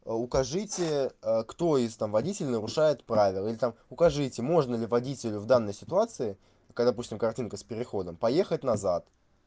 а укажите кто из там водителей нарушает правила или там укажите можно ли водителю в данной ситуации когда допустим картинка с переходом поехать назад